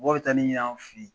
Mɔgɔ bɛ taa ni n y'an fɛ yen